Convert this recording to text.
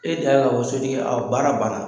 E da ye o so tigi baara ban na.